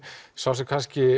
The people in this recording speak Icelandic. sá sem